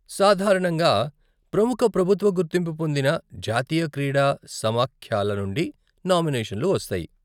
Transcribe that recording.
సాధారణంగా ప్రముఖ ప్రభుత్వ గుర్తింపు పొందిన జాతీయ క్రీడా సమాఖ్యల నుండి నామినేషన్లు వస్తాయి.